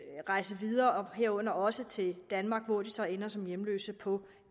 at rejse videre herunder også til danmark hvor de så ender som hjemløse på